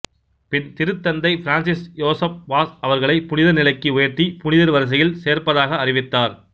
பின் திருத்தந்தை பிரான்சிசு யோசேப் வாஸ் அவர்களைப் புனிதர் நிலைக்கு உயர்த்தி புனிதர் வரிசையில் சேர்ப்பதாக அறிவித்தார்